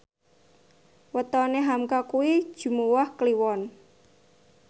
wetone hamka kuwi Jumuwah Kliwon